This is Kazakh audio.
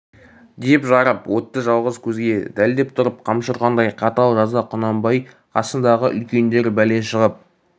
деп жарып өтті жалғыз көзге дәлдеп тұрып қамшы ұрғандай қатал жаза құнанбай қасындағы үлкендер бәле шығып